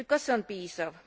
Kuid kas see on piisav?